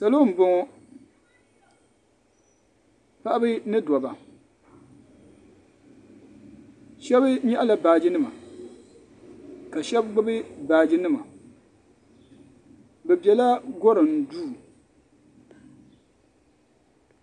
Salo n bɔŋɔ paɣiba ni dabba shɛba yɛɣi la baaji nima ka shɛba gbubi baaji nima bi bɛla gorim duu.